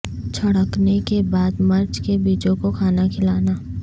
چھڑکنے کے بعد مرچ کے بیجوں کو کھانا کھلانا